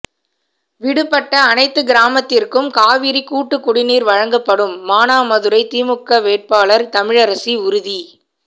விடுபட்ட அனைத்து கிராமத்திற்கும் காவிரி கூட்டுக்குடிநீர் வழங்கப்படும் மானாமதுரை திமுக வேட்பாளர் தமிழரசி உறுதி